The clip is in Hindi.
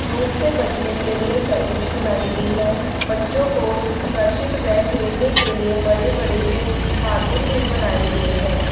धुप से बचने के लिए छत भी बनाई गई है बच्चों को आकर्षित व खेलने के लिए बड़े बड़े से कार्टून भी बनाए गए हैं।